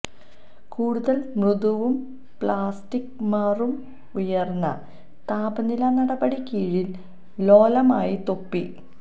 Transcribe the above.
കൂടുതൽ മൃദുവും പ്ലാസ്റ്റിക് മാറും ഉയർന്ന താപനില നടപടി കീഴിൽ ലോലമായി തൊപ്പി